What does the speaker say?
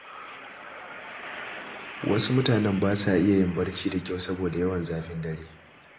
Wasu mutane ba sa iya yin barci da kyau saboda yawan zafin dare.